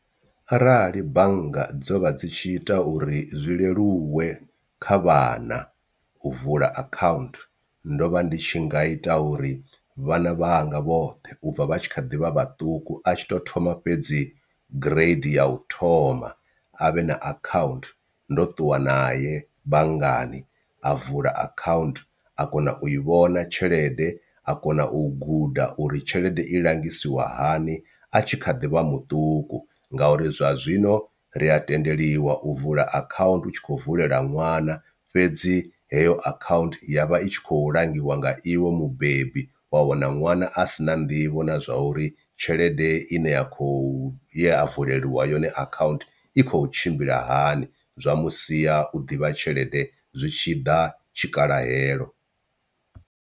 Arali bannga dzo vha dzi tshi ita uri zwi leluwe kha vhana u vula account ndo vha ndi tshi nga ita uri vhana vhanga vhoṱhe ubva vha tshi kha ḓi vha vhaṱuku a tshi to thoma fhedzi grade ya u thoma a vhe na account ndo ṱuwa nae banngani a vula account a kona u i vhona tshelede a kona u guda uri tshelede i langisiwa hani a tshi kha ḓivha muṱuku, ngauri zwa zwino ri a tendeliwa u vula account utshi kho vulela ṅwana fhedzi heyo account ya vha i tshi khou langiwa nga iwe mubebi wa wana ṅwana a si na nḓivho na zwa uri tshelede ine ya kho ya vuleliwa yone account i khou tshimbila hani zwa mu sia u ḓivha tshelede zwi tshi ḓa tshikhalahelo.